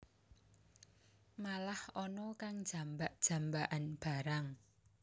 Malah ana kang jambak jambakan barang